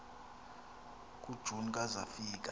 kujuni ka zafika